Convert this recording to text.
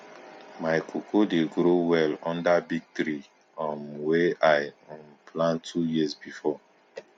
my cocoa dey grow well under big tree um wey i um plant two years before